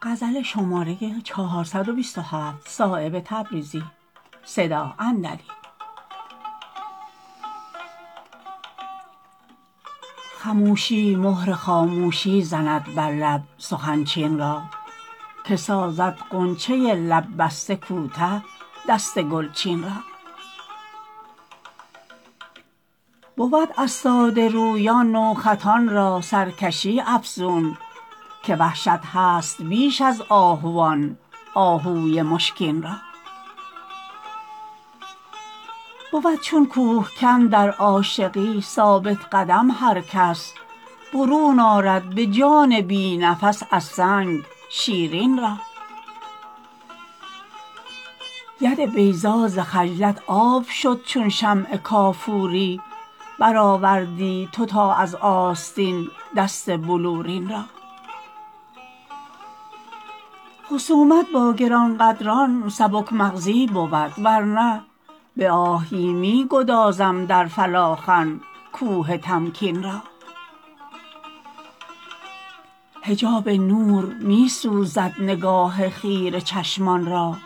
خموشی مهر خاموشی زند بر لب سخن چین را که سازد غنچه لب بسته کوته دست گلچین را بود از ساده رویان نوخطان را سرکشی افزون که وحشت هست بیش از آهوان آهوی مشکین را بود چون کوهکن در عاشقی ثابت قدم هر کس برون آرد به جان بی نفس از سنگ شیرین را ید بیضا ز خجلت آب شد چون شمع کافوری برآوردی تو تا از آستین دست بلورین را خصومت با گرانقدران سبک مغزی بود ورنه به آهی می گذارم در فلاخن کوه تمکین را حجاب نور می سوزد نگاه خیره چشمان را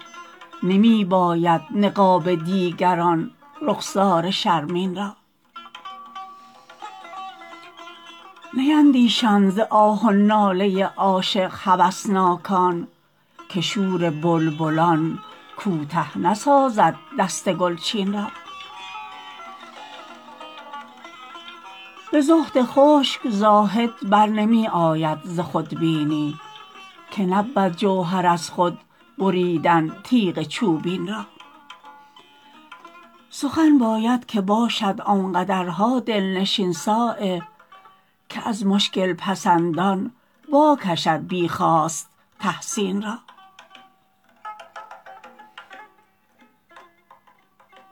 نمی باید نقاب دیگر آن رخسار شرمین را نیندیشند ز آه و ناله عاشق هوسناکان که شور بلبلان کوته نسازد دست گلچین را به زهد خشک زاهد برنمی آید ز خودبینی که نبود جوهر از خود بریدن تیغ چوبین را سخن باید که باشد آنقدرها دلنشین صایب که از مشکل پسندان وا کشد بی خواست تحسین را